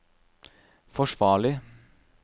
forsvarlig